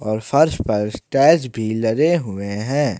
और फर्श पर टाइल्स भी लगे हुए हैं।